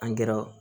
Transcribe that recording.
angɛrɛ